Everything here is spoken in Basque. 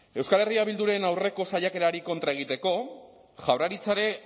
euskal herria bilduren aurreko saiakerari kontra egiteko